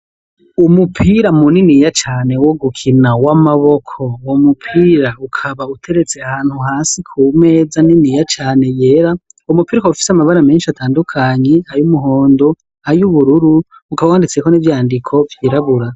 Umupira mu niniya cane wo gukina w'amaboko ,uwo mupira ukaba uteretse ahantu hasi ku meza niniya cane yera ,umupira ukaba ufise amabara menshi atandukanye ay’umuhondo ,ay'ubururu ukaba wanditseko n’ivyandiko vy’irabura.